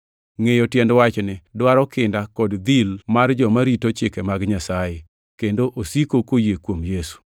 Ngʼeyo tiend wachni dwaro kinda kod dhil mar joma rito chike mag Nyasaye, kendo osiko koyie kuom Yesu.